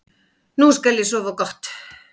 Nú skal ég sofa gott.